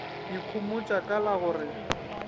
ikhomotša ka la go re